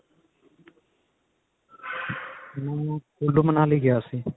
ਮੈਂ ਕੁਲੂ ਮਨਾਲੀ ਗਿਆ ਸੀ